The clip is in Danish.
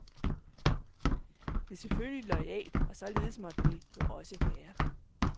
Det er selvfølgelig loyalt, og således måtte det jo også være.